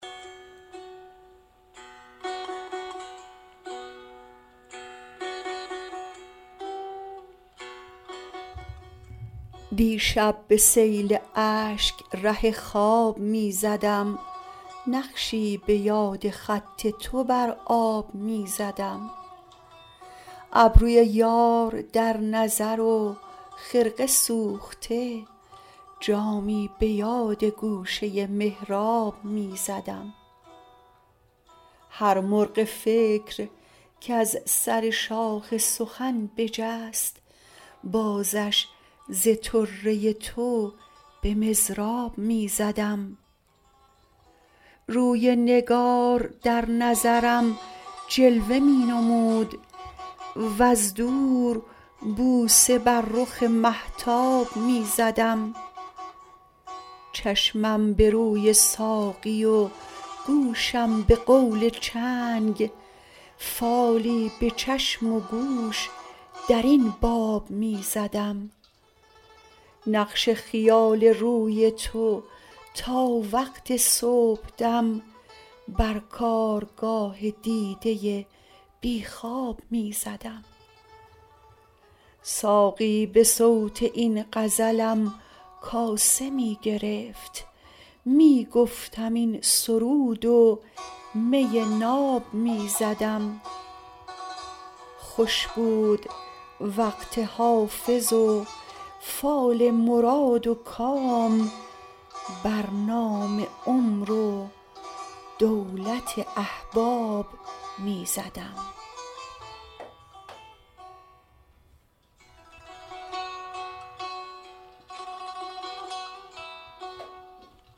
دیشب به سیل اشک ره خواب می زدم نقشی به یاد خط تو بر آب می زدم ابروی یار در نظر و خرقه سوخته جامی به یاد گوشه محراب می زدم هر مرغ فکر کز سر شاخ سخن بجست بازش ز طره تو به مضراب می زدم روی نگار در نظرم جلوه می نمود وز دور بوسه بر رخ مهتاب می زدم چشمم به روی ساقی و گوشم به قول چنگ فالی به چشم و گوش در این باب می زدم نقش خیال روی تو تا وقت صبحدم بر کارگاه دیده بی خواب می زدم ساقی به صوت این غزلم کاسه می گرفت می گفتم این سرود و می ناب می زدم خوش بود وقت حافظ و فال مراد و کام بر نام عمر و دولت احباب می زدم